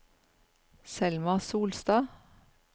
Selma Solstad